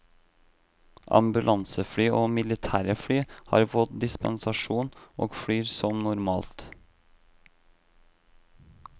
Ambulansefly og militære fly har fått dispensasjon, og flyr som normalt.